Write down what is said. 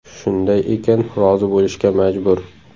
Shunday ekan rozi bo‘lishga majbur.